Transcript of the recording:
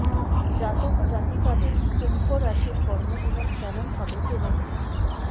জাতক জাতিকাদের কুম্ভ রাশির কর্মজীবন কেমন হবে জেনে নিন